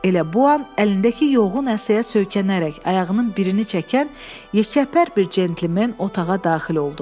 Elə bu an əlindəki yoğun əsəyə söykənərək, ayağının birini çəkən yekəpər bir centlmen otağa daxil oldu.